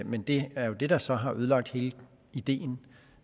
men det er jo det der så har ødelagt hele ideen